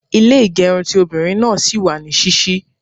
Ilé ìgẹrun ti obìnrin náà ṣì wà ní ṣíṣí.